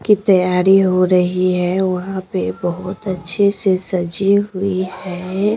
की तैयारी हो रही है वहां पे बहुत अच्छे से सजी हुई है।